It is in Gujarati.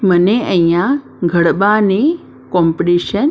મને અહીંયા ઘડબા ની કોમ્પટીશન--